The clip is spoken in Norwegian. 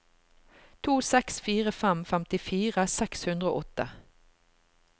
to seks fire fem femtifire seks hundre og åtte